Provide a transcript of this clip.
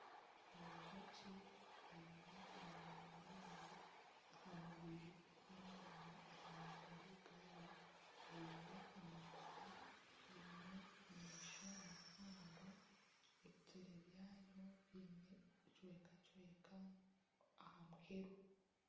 Enjoki eine amoya mingi aha mubiri hamwe nana aha maguru gaayo, eine amapapa eine amaisho mahango, ebituri byayo biine ebicweka cweka aha muheru.